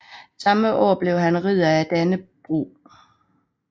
Samme år blev han Ridder af Dannebrog